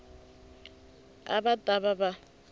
a va ta va va